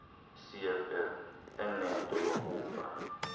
cfl enento yokuva